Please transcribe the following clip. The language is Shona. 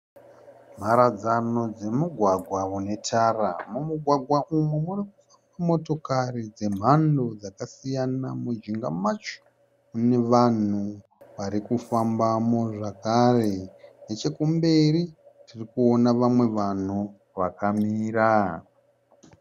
Mharadzano dzemigwagwa unetara. Mumugwagwa umu mune motokari dzemhando dzakasiyana. Mujinga macho mune vanhu varikufambamo zvakare nechekumberi tirikuona vamwe vanhu vakamira.